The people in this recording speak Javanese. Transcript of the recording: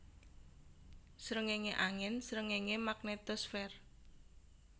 Sréngéngé angin Sréngéngé magnetosfer